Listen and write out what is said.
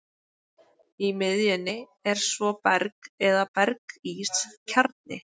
Í miðjunni er svo berg eða berg-ís kjarni.